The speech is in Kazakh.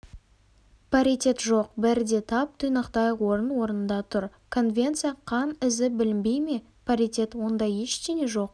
паритет жоқ бәрі де тап-тұйнақтай орын-орнында тұр конвенция қан ізі білінбей ме паритет ондай ештеңе жоқ